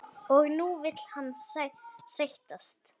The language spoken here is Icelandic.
Og nú vill hann sættast?